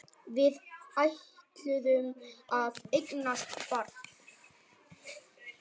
Við ætluðum að eignast barn.